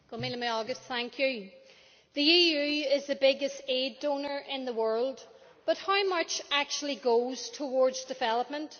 Mr President, the EU is the biggest aid donor in the world, but how much actually goes towards development?